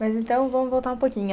Mas, então, vamos voltar um pouquinho.